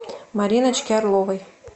мариночки орловой